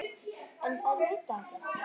En þær vita ekkert.